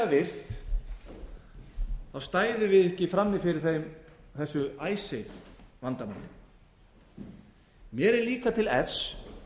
raunverulega virt stæðum við ekki frammi fyrir þessu icesave vandamáli mér er líka til efs